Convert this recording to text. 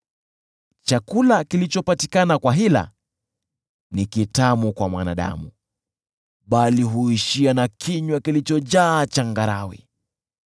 Chakula kilichopatikana kwa hila ni kitamu kwa mwanadamu, bali huishia na kinywa kilichojaa changarawe.